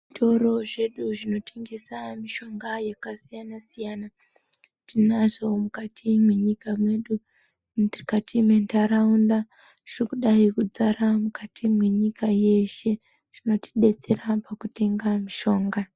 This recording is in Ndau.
Zvitoro zvedu zvinotongesa mishonga yakasiyan siyana tinazvo mukati mwenyika yedu mukati menharaunda zvirikudai kudzara mukati mwenyika yeshe zvinotidetsera pakutenga mishonga.